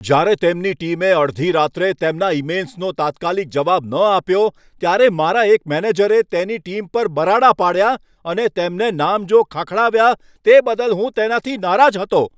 જ્યારે તેમની ટીમે અડધી રાત્રે તેમના ઈમેઈલ્સનો તાત્કાલિક જવાબ ન આપ્યો ત્યારે મારા એક મેનેજરે તેની ટીમ પર બરાડા પાડ્યા અને તેમને નામજોગ ખખડાવ્યા તે બદલ હું તેનાથી નારાજ હતો.